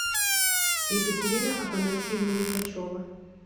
екатерина афанасьевна лихачева